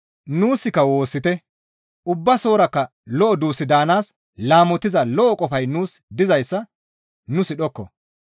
Nuuska woossite; Ubbasorakka lo7o duus daanaas laamotiza lo7o qofay nuus dizayssa nu sidhokko.